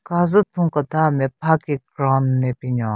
Kazu thun keda nme pha ki ground le binyon.